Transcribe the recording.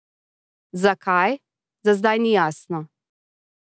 Zakaj, za zdaj ni jasno.